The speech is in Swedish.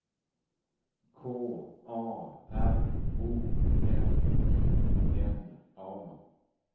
K A R O L I N A